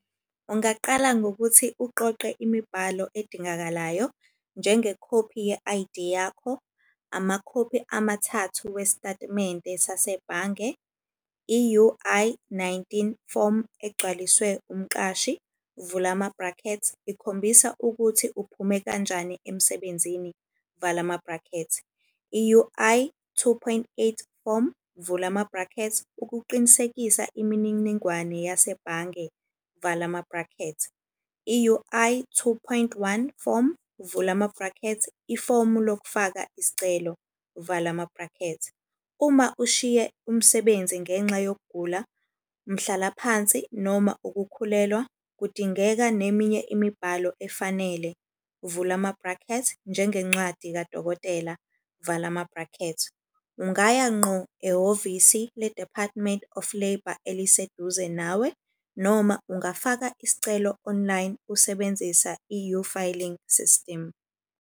Ungaqala ngokuthi uqoqe imibhalo edingakalayo, njengekhophi ye-I_D yakho, amakhophi amathathu wesitatimende sasebhange, i-U_I nineteen form egcwaliswe umqashi. Vula ama-bracket, ikhombisa ukuthi uphume kanjani emsebenzini, vala ama-bracket. I-U_I two point eight form vula ama-bracket, ukuqinisekisa imininingwane yasebhange, vala ama-bracket. I-U_I two point one form vula ama-bracket, ifomu lokufaka isicelo, vala ama-bracket. Uma ushiye umsebenzi ngenxa yokugula, umhlalaphansi noma ukukhulelwa, kudingeka neminye imibhalo efanele. Uvula ama-bracket, njengencwadi kadokotela, vala ama-bracket. Ungaya ngqo ehhovisi le-Department of Labour eliseduze nawe. Noma ungafaka isicelo online usebenzisa i-uFiling system.